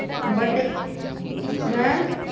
but ਹੈਂ